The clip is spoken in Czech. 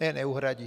Ne neuhradí.